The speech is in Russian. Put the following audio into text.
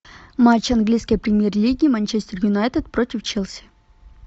матч английской премьер лиги манчестер юнайтед против челси